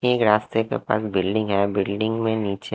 एक रास्ते के पास बिल्डिंग है बिल्डिंग में नीचे--